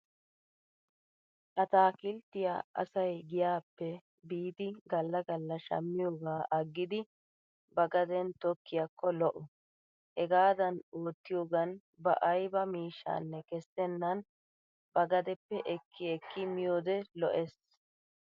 Attaakilttiya asay giyaappe biidi galla galla shammiyoogaa aggidi ba gaden tokkiyaakko lo'o. Hegaadan oottiyoogan ba ayba miishshanne kessennan ba gadeppe ekki ekki miyoode lo'es.